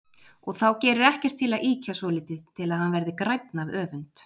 Og þá gerir ekkert til að ýkja svolítið til að hann verði grænn af öfund.